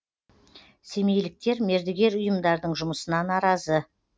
семейліктер мердігер ұйымдардың жұмысына наразы